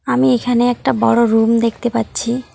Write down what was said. আমি এখানে একটা বড় রুম দেখতে পাচ্ছি।